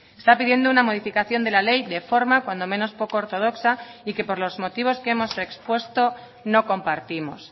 está pidiendo una modificación de la ley de forma cuando menos poco ortodoxa y que por los motivos que hemos expuesto no compartimos